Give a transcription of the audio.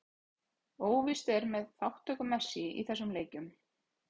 Óvíst er með þátttöku Messi í þessum leikjum.